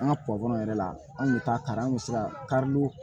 An ka yɛrɛ la an kun bɛ taa kari an kun bɛ se ka karili